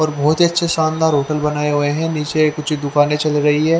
और बहोत अच्छे शानदार होटल बनाए हुए है नीचे कुछ दुकाने चल रही है।